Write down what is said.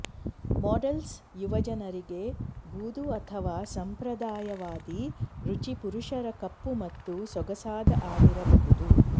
models ಯುವಜನರಿಗೆ ಬೂದು ಅಥವಾ ಸಂಪ್ರದಾಯವಾದಿ ರುಚಿ ಪುರುಷರ ಕಪ್ಪು ಮತ್ತು ಸೊಗಸಾದ ಆಗಿರಬಹುದು